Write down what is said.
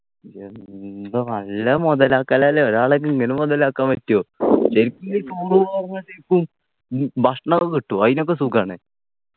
എന്താ നല്ല മുതലാക്കൽ അല്ലേ ഒരാൾ ഇങ്ങനെ മുതലാക്കാൻ പറ്റൊ ശരിക്കും നീ tour പോകുമ്പോഴത്തേക്കും ഉം ഭക്ഷണൊക്കെ കിട്ടുവൊ അയിനൊക്കെ സുഖാണ്